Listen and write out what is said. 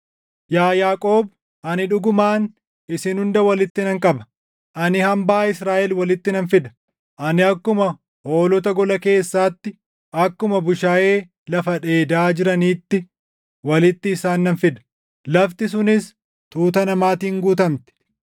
“Yaa Yaaqoob, ani dhugumaan isin hunda walitti nan qaba; ani hambaa Israaʼel walitti nan fida. Ani akkuma hoolota gola keessaatti, akkuma bushaayee lafa dheedaa jiraniitti walitti isaan nan fida; lafti sunis tuuta namaatiin guutamti.